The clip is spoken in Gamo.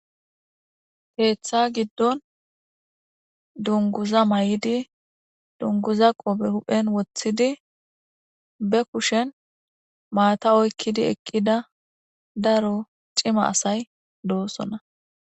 keeththa giddon dunguza may7idi dunguza qope huphen woththidi be kushen maata oykkidi eqqida daro cima asay doosona.